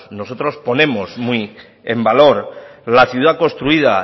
nosotros ponemos muy en valor la ciudad construida